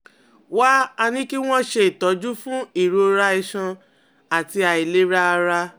Wá a ní kí wọ́n ṣe ìtọ́jú fún ìrora iṣan àti àìlera ara